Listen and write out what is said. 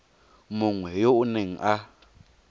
mongwe yo o neng a